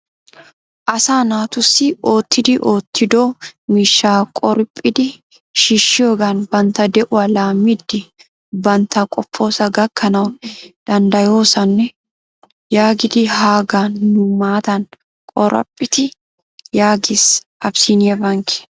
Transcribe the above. Asaa naatussi oottiddi oottiddo miishshaa qoraphphidi shiishshiyoogan bantta de'uwa laammidi bantta qopposaa gakkanawu dandayoosona yaagidi hagaa nu matan qoraphphite yaages Abissiiniya Bankee.